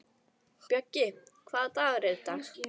Bjöggi, hvaða dagur er í dag?